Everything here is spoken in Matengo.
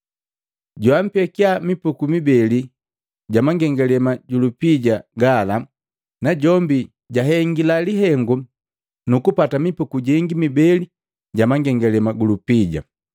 Joampekiya mipuku mibeli ja mangengalema ju lupija jola najombi jahengila lihengu nukupata mipuku jengi mibeli ja mangengalema ju lupija.